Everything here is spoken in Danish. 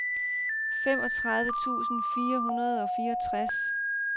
femogtredive tusind fire hundrede og fireogtres